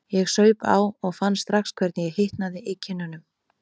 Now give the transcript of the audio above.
Ég saup á og fann strax hvernig ég hitnaði í kinnunum.